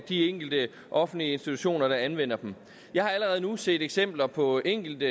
de enkelte offentlige institutioner der anvender dem jeg har allerede nu set eksempler på enkelte